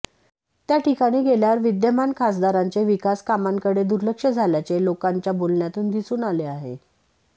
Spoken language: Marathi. त्या ठिकाणी गेल्यावर विद्यमान खासदारांचे विकास कामांकडे दुर्लक्ष झाल्याचे लोकांच्या बोलण्यातून दिसून आले आहे